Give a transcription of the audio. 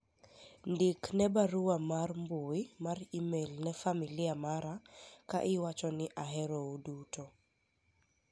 ndik ne barua mar mbui mar email ne familia mara ka iwacho ni ahero uduto